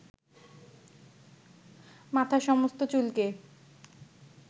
মাথার সমস্ত চুলকে